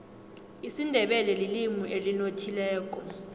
isindebele lilimi elinothileko